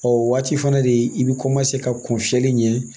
O waati fana de i bɛ ka kun fiyɛli ɲɛ